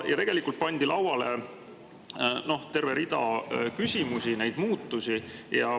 Ja tegelikult pandi lauale terve rida küsimusi nende muutuste kohta.